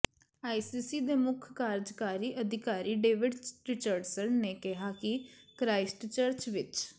ICC ਦੇ ਮੁੱਖ ਕਾਰਜਕਾਰੀ ਅਧਿਕਾਰੀ ਡੇਵਿਡ ਰਿਚਰਡਸਨ ਨੇ ਕਿਹਾ ਕਿ ਕ੍ਰਾਈਸਟਚਰਚ ਵਿਚ